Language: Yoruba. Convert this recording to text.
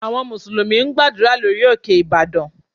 Àwọn Mùsùlùmí ń gbàdúrà lórí òkè Ìbàdàn